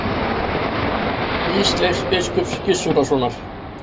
Ísleifs biskups Gizurarsonar.